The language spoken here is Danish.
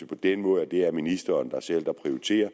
på den måde at det er ministeren selv der prioriterer